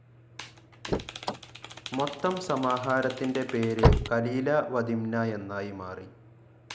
മൊത്തം സമാഹാരത്തിന്റെ പേര്‌ കലീല വ ദിംന എന്നായി മാറി.